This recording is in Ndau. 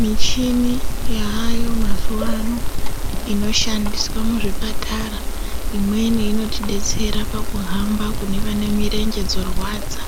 Mishini yaayo mazuwano inoshandiswa muzvipatara imweni inotidetsera kuhamba kune vanemirenje dzorwadza.